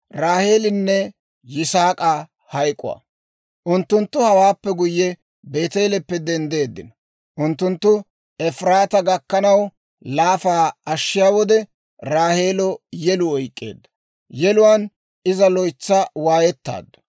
Unttunttu hewaappe guyye, Beeteeleppe denddeeddino. Unttunttu Efiraataa gakkanaw laafaa ashshiyaa wode, Raaheelo yeluu oyk'k'eedda; yeluwaan iza loytsa waayettaaddu.